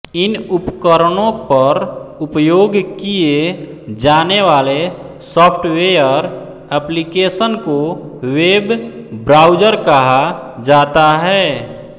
इन उपकरणों पर उपयोग किए जाने वाले सॉफ़्टवेयर एप्लिकेशन को वेब ब्राउज़र कहा जाता है